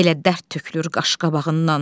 Elə dərd tökülür qaş-qabağından.